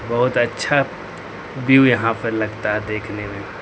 बहुत अच्छा व्यू यहां पे लगता है देखने में।